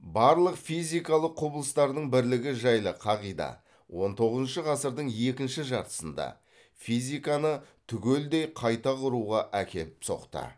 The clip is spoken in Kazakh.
барлық физикалық құбылыстардың бірлігі жайлы қағида он тоғызыншы ғасырдың екінші жартысында физиканы түгелдей қайта құруға әкеліп соқты